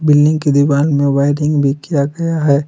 Building की दीवाल में वायरिंग भी किया गया है।